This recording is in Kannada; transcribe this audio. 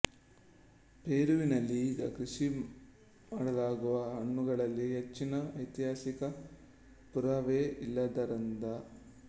ಪೆರುವಿನಲ್ಲಿ ಈಗ ಕೃಷಿ ಮಾಡಲಾಗುವ ಹಣ್ಣುಗಳಿಗೂ ಹೆಚ್ಚಿನ ಐತಿಹಾಸಿಕ ಪುರಾವೆ ಇಲ್ಲದ್ದರಿಂದ